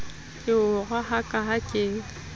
ke o rohaka ha ke